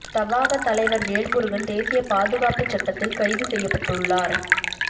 தவாக தலைவர் வேல்முருகன் தேசிய பாதுகாப்புச் சட்டத்தில் கைது செய்யப்பட்டு உள்ளார்